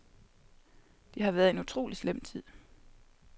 Det har været en utrolig slem tid.